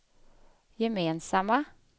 gemensamma